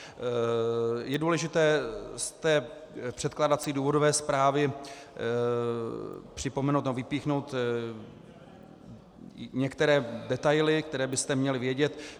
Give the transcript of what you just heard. Je důležité z té předkládací důvodové zprávy připomenout nebo vypíchnout některé detaily, které byste měli vědět.